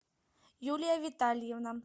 юлия витальевна